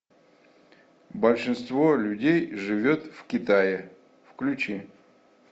большинство людей живет в китае включи